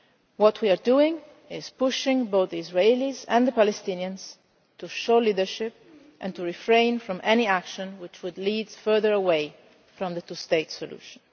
What we are doing is pushing both the Israelis and the Palestinians to show leadership and to refrain from any action which would lead further away from the two state solution.